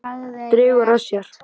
Dregur að sér.